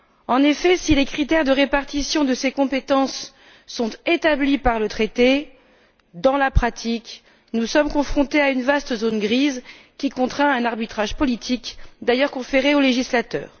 En effet, si les critères de répartition de ces compétences sont établis par le traité, dans la pratique nous sommes confrontés à une vaste zone grise qui contraint à un arbitrage politique, d'ailleurs conféré au législateur.